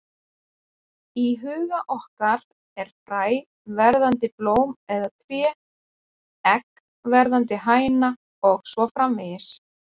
Í huga okkar er fræ verðandi blóm eða tré, egg verðandi hæna og svo framvegis.